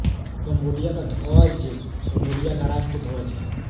Cambodia का ध्वज Cambodia का राष्ट्रीय ध्वज है